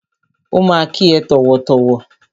Ó ma kí ẹ tọ̀wọ̀tọ̀wọ̀.